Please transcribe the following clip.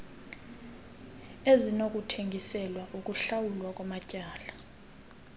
ezinokuthengiselwa ukuhlawulwa kwamatyala